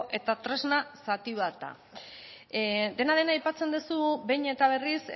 eta tresna zati bat da dena den aipatzen duzu behin eta berriz